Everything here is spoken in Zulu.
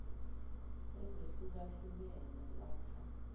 ezehluka hlukene lakha